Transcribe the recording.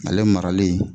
Ale marali